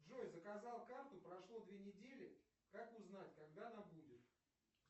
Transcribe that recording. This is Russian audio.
джой заказал карту прошло две недели как узнать когда она будет